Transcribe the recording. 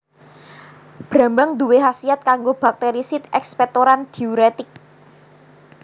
Brambang nduwé khasiat kanggo Bakterisid ekspektoran diuretik